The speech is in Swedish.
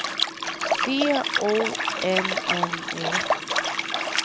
C O N N Y